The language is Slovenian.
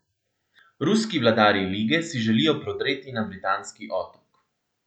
Ruski vladarji lige si želijo prodreti na britanski otok.